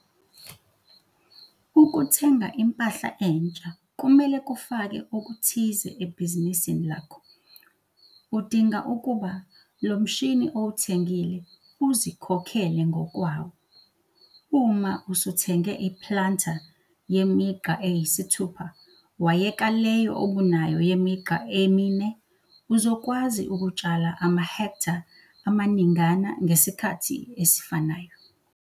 Ukuthenga impahla entsha kumele kufake okuthize ebhizinisini lakho. Udinga ukuba lo mshini owuthengile uzikhokhele ngokwawo. Uma usuthenge i-planter yemigqa eyi-6 wayeka leyo obunayo yemigqa e-4 uzokwazi ukutshala amahektha amaningana ngesikhathi esifanayo.